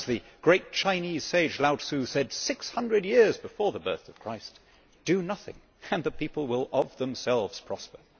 As the great Chinese sage Lao Tzu said, 600 years before the birth of Christ Do nothing and the people will, of themselves, prosper.'